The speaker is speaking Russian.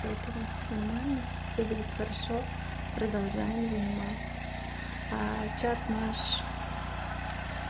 поэтому всё нормально всё будет хорошо продолжаем заниматься чат наш